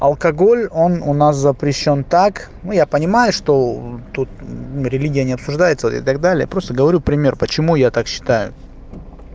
алкоголь он у нас запрещён так но я понимаю что тут религия не обсуждается и так далее просто говорю пример почему я так считаю